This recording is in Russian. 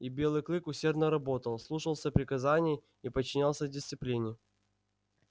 и белый клык усердно работал слушался приказаний и подчинялся дисциплине